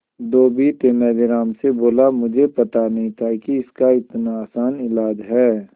धोबी तेनालीराम से बोला मुझे पता नहीं था कि इसका इतना आसान इलाज है